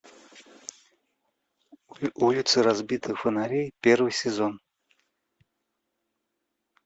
улицы разбитых фонарей первый сезон